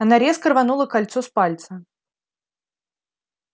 она резко рванула кольцо с пальца